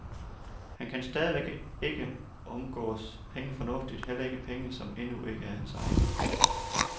Han kan stadigvæk ikke omgås penge fornuftigt, heller ikke penge, som endnu ikke er hans egne.